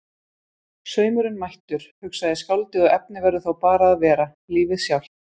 Saumurinn mættur, hugsaði skáldið, og efnið verður þá bara að vera. lífið sjálft.